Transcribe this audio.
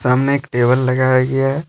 सामने एक टेबल लगाया गया है।